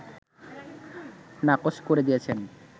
নাকচ করে দিয়েছেন